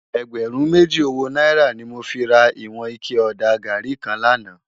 Ègbèrún méjí ówó nàírá ni mó fi rá iwòn iké òdá gàrí kán làná